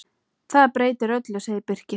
Það breytir öllu, segir Birkir.